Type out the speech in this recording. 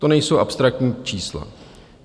To nejsou abstraktní čísla.